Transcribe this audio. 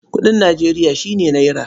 Kuɗin Nijeriya shi ne nera.